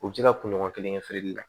U bɛ se ka kunɲɔgɔn kelen kɛ feereli la